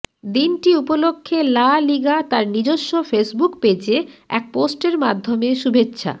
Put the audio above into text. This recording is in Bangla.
দিনটি উপলক্ষে লা লিগা তার নিজস্ব ফেসবুক পেজে এক পোস্টের মাধ্যমে শুভেচ্ছা